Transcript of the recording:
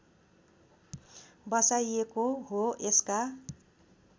बसाइएको हो यसका